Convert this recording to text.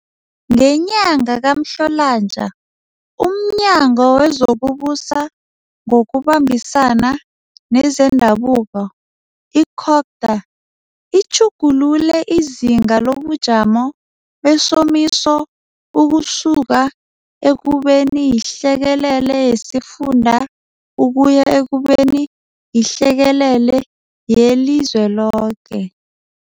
Ngenyanga kaMhlolanja umNyango wezokuBusa ngokuBambisana nezeNdabuko, i-Cogta, utjhugulule izinga lobujamo besomisa ukusuka ekubeni yihlekelele yesifunda ukuya ekubeni yihlekelele yelizweloke.